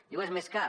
diu és més car